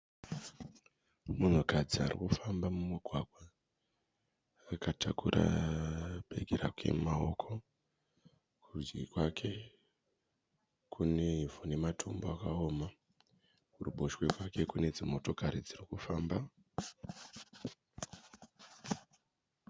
Munhukadzi ari kufamba mumugwagwa. Akatakura bhegi raea mumaoko. Kurudyi kwake kune ivhu nematombo akaoma. Kuruboshwe kwake kune dzimotokari dziri kufamba.